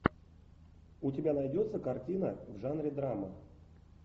у тебя найдется картина в жанре драмы